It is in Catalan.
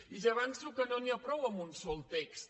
i ja avanço que no n’hi ha prou amb un sol text